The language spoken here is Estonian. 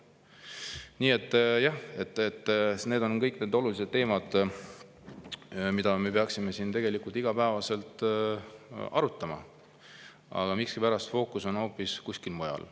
Nii et jah, need on kõik olulised teemad, mida me peaksime siin igapäevaselt arutama, aga miskipärast fookus on hoopis kuskil mujal.